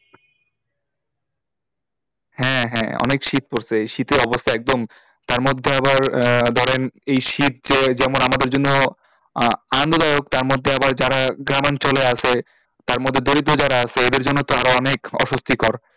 হ্যাঁ হ্যাঁ অনেক শীত পড়েছে শীতে অবস্থা একদম তার মধ্যে আবার আহ ধরেন এই শীত যে যেমন আমাদের জন্য আহ আনন্দদায়ক তার মধ্যে আবার যারা গ্রামঞ্চলে আছে তার মধ্যে দরিদ্র যারা আছে এদের জন্য তো আরও অনেক অস্বস্তিকর,